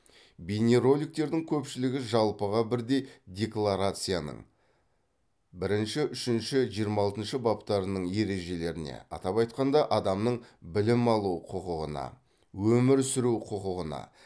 бейнероликтердің көпшілігі жалпыға бірдей декларацияның бірінші үшінші жиырма алтыншы баптарының ережелеріне атап айтқанда адамның білім алу құқығына өмір сүру құқығына